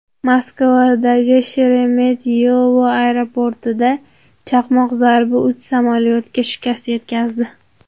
Moskvadagi Sheremetyevo aeroportida chaqmoq zarbi uch samolyotga shikast yetkazdi.